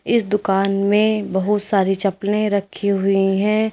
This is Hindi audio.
इस दुकान में बहुत सारी चप्पलें रखी हुई हैं।